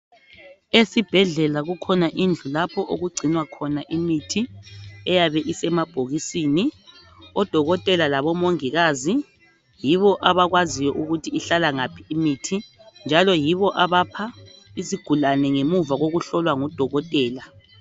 Esibhedlela kukhona indlu lapho okugcinwa khona imithi eyabe isemabhokisini. Odokotela labo mongikazi yibo abakwaziyo ukuthi ihlala ngaphi imithi njalo yibo abapha isigulane ngemuva koku hlolwa ngudokotela.